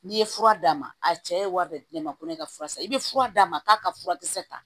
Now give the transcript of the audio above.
N'i ye fura d'a ma a cɛ ye wari bɛɛ ma ko ne ka fura san i bɛ fura d'a ma k'a ka fura kisɛ ta